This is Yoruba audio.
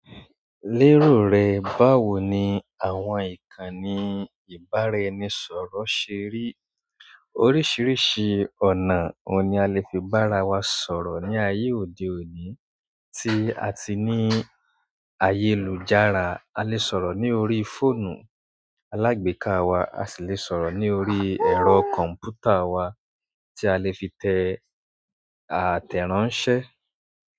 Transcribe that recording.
Lérò rẹ, báwo ni àwọn ìkànnì ìbáraẹnisọ̀rọ̀ ṣe rí? Oríṣiríṣi ọ̀nà oun ni a lè fi bá ara wa sọ̀rọ̀ ní ayé òde òní tí a ti ní ayélujára? A lè sọ̀rọ̀ ní orí fóònù alágbèéká wa, a sì lè sọ̀rọ̀ ní orí ẹ̀rọ kọ̀m̀pútà wa tí a lè fi tẹ àtẹ̀ránsẹ́.